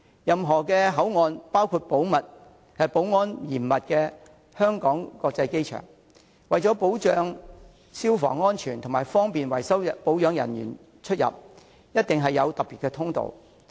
任何口岸，包括保安嚴密的香港國際機場，為了保障消防安全及方便維修保養人員出入，一定有特別通道。